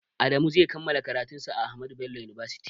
Adamu zai kammala karatun sa a ahmadu bello university